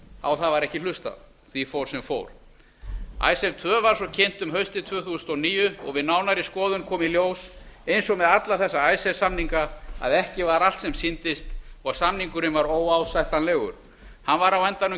á það var ekki hlustað því fór sem fór icesave tvö var svo kynnt um haustið tvö þúsund og níu og við nánari skoðun kom í ljós eins og með alla þessa icesave samninga að ekki var allt sem sýndist og samningurinn var óásættanlegur hann var á endanum